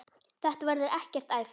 Þetta verður ekkert æft.